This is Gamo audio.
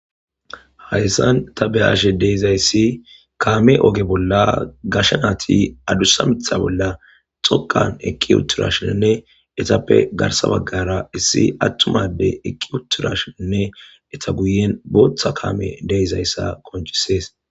Hayssan ta beashe deizayssi kaame oge bolla gashanaati adussa mitha bolla xoqan eqqi utturashinnne etappe garsa baggara issi attumade eqqi uturashiinne eta guyen bootha kaame deeizayssa qoncisees